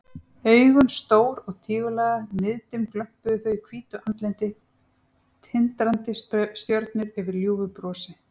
Augun stór og tígullaga, niðdimm glömpuðu þau í hvítu andliti, tindrandi stjörnur yfir ljúfu brosi.